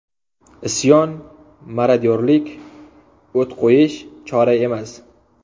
Isyon, marodyorlik, o‘t qo‘yish chora emas.